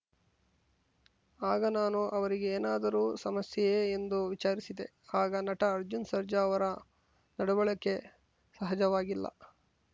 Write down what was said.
ಆಗ ನಾನು ಅವರಿಗೆ ಏನಾದರೂ ಸಮಸ್ಯೆಯೇ ಎಂದು ವಿಚಾರಿಸಿದೆ ಆಗ ನಟ ಅರ್ಜುನ್‌ ಸರ್ಜಾ ಅವರ ನಡವಳಿಕೆ ಸಹಜವಾಗಿಲ್ಲ